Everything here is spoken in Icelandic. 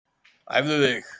Æfðu þig